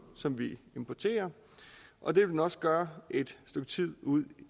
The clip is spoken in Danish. som vi importerer og det vil den også gøre et stykke tid ud